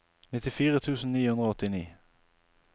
nittifire tusen ni hundre og åttini